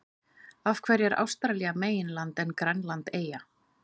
Af hverju er Ástralía meginland en Grænland eyja?